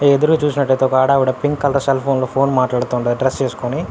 ఎదురుగ చూసినట్టైతే ఒక ఆడ ఆవిడ పింక్ కలర్ సెల్ ఫోన్ లో ఫోన్ మాట్లాడుతుంది డ్రెస్ ఏసుకొని.